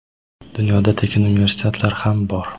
dunyoda tekin universitetlar ham bor.